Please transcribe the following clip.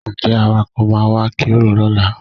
Ǹjẹ́ Awakọ̀ máa wá kérò lọ́la?